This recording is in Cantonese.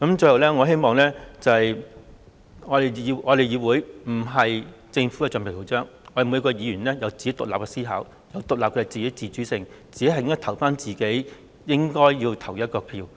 最後，我希望我們議會不是政府的橡皮圖章，我們每名議員都有自己獨立的思考和自主性，只會投自己該投的票。